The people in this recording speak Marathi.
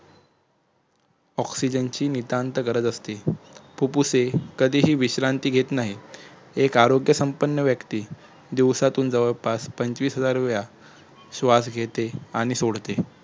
ऑक्सिजनची नितांत गरज असते फुप्फुसे कधीही विश्रांती घेत नाहीत एक आरोग्यसंपन्न व्यक्ती दिवसातून जवळपास पंचवीस हजारवेळा श्वास घेते आणि सोडते